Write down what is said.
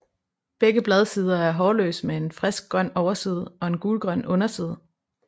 Begge bladsider er hårløse med en friskgrøn overside og en gulgrøn underside